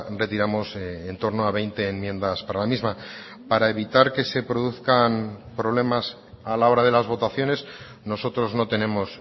retiramos en torno a veinte enmiendas para la misma para evitar que se produzcan problemas a la hora de las votaciones nosotros no tenemos